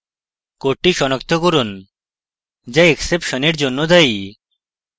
code সনাক্ত করুন যা exception এর জন্য দায়ী